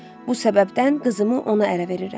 Bu səbəbdən qızımı ona ərə verirəm.